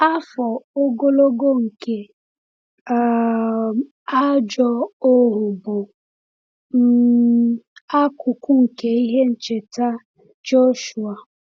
Afọ ogologo nke um ajọ ohu bụ um akụkụ nke ihe ncheta Joshua.